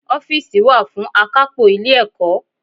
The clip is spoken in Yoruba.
Ófììsì wá fún àkápò Ilé ẹ̀kọ́